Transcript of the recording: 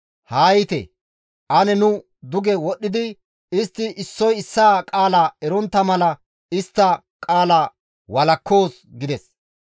Haa yiite! Ane nu duge wodhdhidi istti issoy issaa qaala erontta mala istta qaala walakkoos» gides.